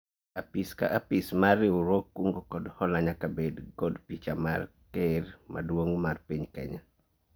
Apis ka apis mar riwruog kungo kod hola nyaka bed kod picha mar ker maduong' mar piny Kenya